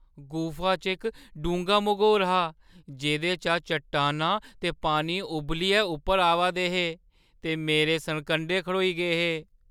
गुफा च इक डूंह्गा मघोर हा जेह्दे चा चट्टानां ते पानी उब्बलियै उप्पर आवा दे हे ते मेरे सरकंडे खड़ोई गे हे।